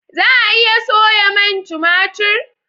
za a iya soya man tumatir?